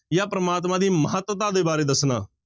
ਜਾਂ ਪ੍ਰਮਾਤਮਾ ਦੀ ਮਹੱਤਤਾ ਦੇ ਬਾਰੇ ਦੱਸਣਾ।